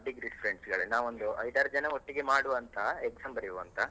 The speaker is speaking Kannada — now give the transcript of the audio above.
degree friends ಗಳೇ, ನಾವ್ ಒಂದು ಐದ್ ಆರ್ಜನ ಒಟ್ಟಿಗೆ ಮಾಡುವಂತ exam ಬರೆಯುವ ಅಂತ.